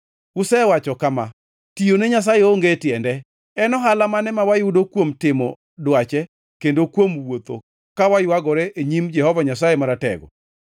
“Usewacho kama, ‘Tiyone Nyasaye onge tiende. En ohala mane ma wayudo kuom timo dwache kendo kuom wuotho ka waywagore e nyim Jehova Nyasaye Maratego?